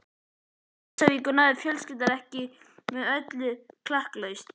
Til Húsavíkur náði fjölskyldan ekki með öllu klakklaust.